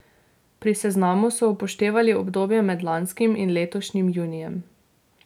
Pri seznamu so upoštevali obdobje med lanskim in letošnjim junijem.